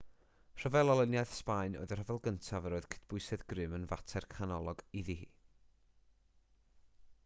rhyfel olyniaeth sbaen oedd y rhyfel gyntaf yr oedd cydbwysedd grym yn fater canolog iddi hi